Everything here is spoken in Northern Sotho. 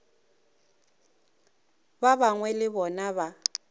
ba gagwe le bona ba